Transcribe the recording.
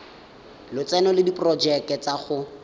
lotseno le diporojeke tsa go